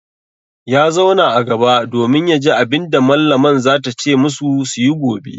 Ya zauna a gaba domin ya ji abin da mallaman za ta ce masu su yi gobe.